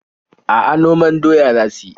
A'a, noman doya za su yi.